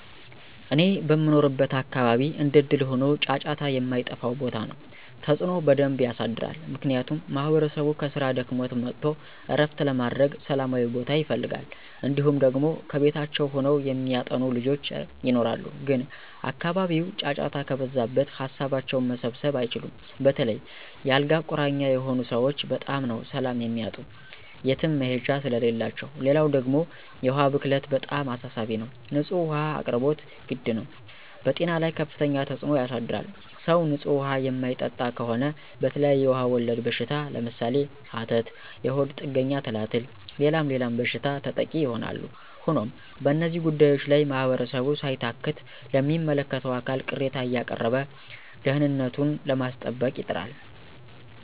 እኔ በምኖርበት አካባቢ እንደእድል ሆኖ ጫጫታ የማይጠፍው ቦታ ነው። ተፅዕኖ በደንብ የሳድራል። ምክንያቱም ማህበረሰቡ ከስራ ደክሞት መጥቶ ዕረፍት ለማድረግ ሠላማዊ ቦታ ይፈልጋል። እንዲሁም ደግሞ ከቤታቸው ሆነው የሚያጠኑ ልጆች ይኖራሉ ግን አካባቢው ጫጫታ ከበዛበት ሀሳባቸውን መሰብሰብ አይችሉም. በተለይ የ አልጋ ቁራኛ የሆኑ ሰወች በጣም ነው ሰላም የሚያጡ የትም መሄጃ ስለሌላቸው። ሌላው ደግሞ የውሀ ብክለት በጣም አሳሳቢ ነው። ንፁህ ውሀ አቅርቦት ግድ ነው። በጤና ላይ ከፍተኛ ተፅዕኖ ያሳድራል .ሰው ንፁህ ውሀ የማይጠጣ ከሆነ በተለያዬ ውሀ ወለድ በሽታ ለምሳሌ፦ ሀተት፣ የሆድ ጥገኛ ትላትል ሌላም ሌላም በሽታ ተጠቂ ይሆናሉ። ሆኖም በእነዚህ ጉዳዮች ላይ ማህበረሰቡ ሳይታክት ለሚመለከተው አካል ቅሬታ አያቀረበ ደህንነቱኑ ለማስጠበቅ ይጥራል።